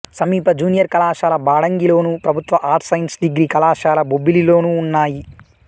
సమీప జూనియర్ కళాశాల బాడంగిలోను ప్రభుత్వ ఆర్ట్స్ సైన్స్ డిగ్రీ కళాశాల బొబ్బిలిలోనూ ఉన్నాయి